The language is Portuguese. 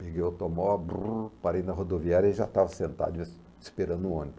Peguei o automóvel, parei na rodoviária e já estava sentado esperando o ônibus.